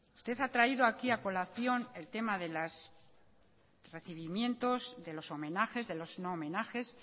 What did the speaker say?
usted ha traído aquí a colación el tema de los recibimientos de los homenajes de los no homenajes